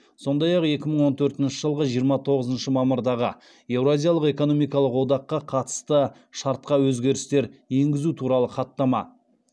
сондай ақ екі мың он төртінші жылғы жиырма тоғызыншы мамырдағы еуразиялық экономикалық одаққа қатысты шартқа өзгерістер енгізу туралы хаттама